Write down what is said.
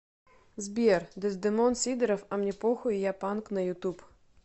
сбер дездемон сидоров а мне похуй я панк на ютуб